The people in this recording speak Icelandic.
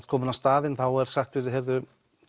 komin á staðinn þá er sagt við þig að